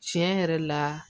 Tiɲɛ yɛrɛ la